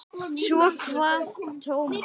Svo kvað Tómas.